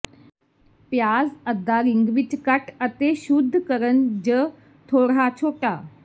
ਪਿਆਜ਼ ਅੱਧਾ ਰਿੰਗ ਵਿੱਚ ਕੱਟ ਅਤੇ ਸ਼ੁੱਧ ਕਰਨ ਜ ਥੋੜ੍ਹਾ ਛੋਟਾ